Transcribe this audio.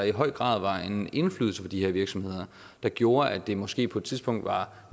i høj grad var en indflydelse på de her virksomheder der gjorde at det måske på et tidspunkt var